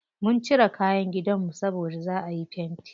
Mun cire kayan gidanmu saboda za'a yi fenti.